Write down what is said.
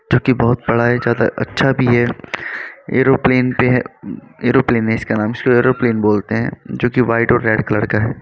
जो कि बोहोत बड़ा है ज्यादा अच्छा भी है एरोप्लेन पे है एरोप्लेन है इसका नाम इसको एयरोप्लेन बोलते हैं जोकि वाइट और रेड कलर का है।